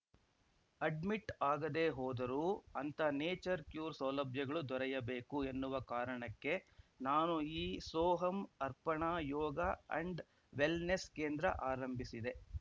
admit ಆಗದೆ ಹೋದರೂ ಅಂಥ ನೇಚರ್‌ ಕ್ಯೂರ್‌ ಸೌಲಭ್ಯಗಳು ದೊರೆಯಬೇಕು ಎನ್ನುವ ಕಾರಣಕ್ಕೆ ನಾನು ಈ ಸೋಹಮ್‌ ಅರ್ಪಣಾ ಯೋಗ ಆಂಡ್‌ ವೆಲ್‌ನೆಸ್‌ ಕೇಂದ್ರ ಆರಂಭಿಸಿದೆ